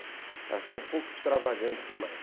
Ela está um pouco extravagante demais.